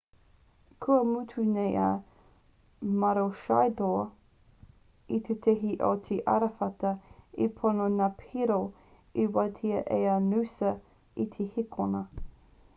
kua mutu nei a maroochydore i te tihi o te arawhata e ono ngā piro e wātea ai a noosa i te hēkona